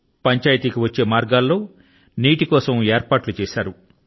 పంచాయతీ కి వచ్చే మార్గాల లో నీటి కోసం ఏర్పాట్లు చేశారు